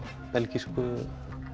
belgísku